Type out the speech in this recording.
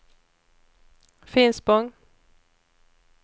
Finspång